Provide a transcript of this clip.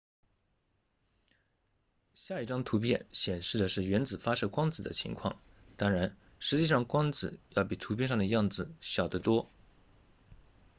下一张图片显示的是原子发射光子的情况当然实际上光子要比图片上的样子小得多